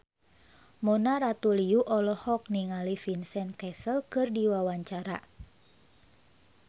Mona Ratuliu olohok ningali Vincent Cassel keur diwawancara